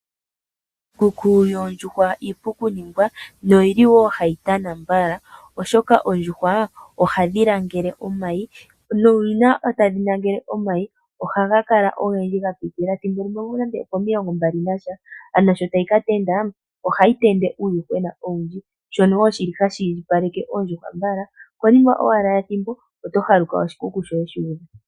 Iikuku yoondjuhwa iipu ku ningwa no yili wo hayi tana mbala, oshoka oondjuhwa ohadhi langele omayi. Nuuna tadhi nangele omayi, ohaga kala ogendji ga pitilila thimbo limwe nande opo milongo mbali nasha. Sho tayi ka tendula, ohayi tendula uuyuhwena owundji. Shono wo shili hashi indjipaleke oondjuhwa mbala, okonima owala yethimbo oto haluka oshikuku shoye shuudha.